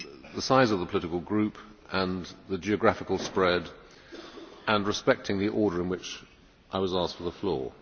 the size of the political group and the geographical spread, respecting the order in which I was asked for the floor.